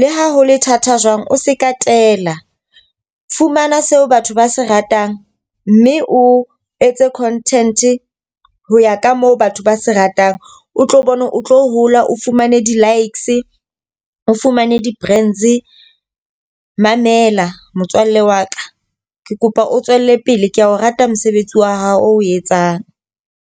le ha ho le thata jwang, o se ka tela. Fumana seo batho ba se ratang mme o etse content ho ya ka moo batho ba se ratang. O tlo bone o tlo hola o fumane di-likes, o fumane di-friends. Mamela motswalle wa ka, ke kopa o tswelle pele ke a o rata mosebetsi wa hao oo etsang.